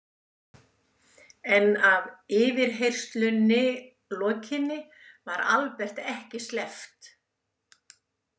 En að yfirheyrslunni lokinni var Albert ekki sleppt.